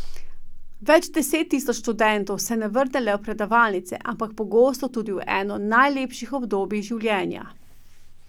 Več deset tisoč študentov se ne vrne le v predavalnice, ampak pogosto tudi v eno najlepših obdobij življenja.